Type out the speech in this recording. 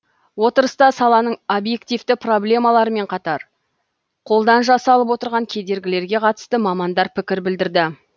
отырыста саланың объективті проблемаларымен қатар қолдан жасалып отырған кедергілерге қатысты мамандар пікір білдірді